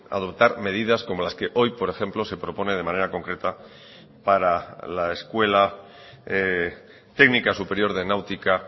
adoptar medidas como las que hoy por ejemplo se propone de manera concreta para la escuela técnica superior de náutica